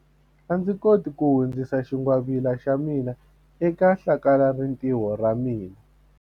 A ndzi koti ku hundzisa xingwavila xa mina eka hlakalarintiho ra ra mina.